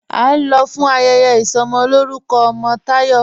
́A ń lọ̀ fún ayẹyẹ isọmọlọ̀rùkọ̀ ọmọ Tayọ́.